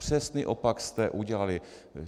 Přesný opak jste udělali.